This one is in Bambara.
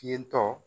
Ten tɔ